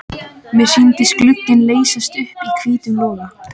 Mér sýndist glugginn leysast upp í hvítum loga.